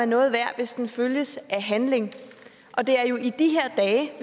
noget værd hvis den følges af handling og det er jo i de her dage